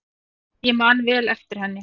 Ég man vel eftir henni.